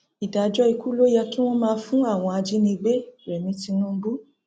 ìdájọ ikú ló yẹ kí wọn máa fún àwọn ajánigbérẹmi tinubu